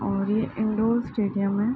और ये इंदौर स्टेडियम है।